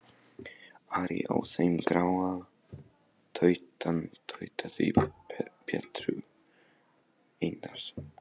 Ari á þeim gráa, tautaði Pétur Einarsson.